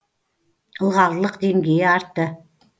ылғалдылық деңгейі артты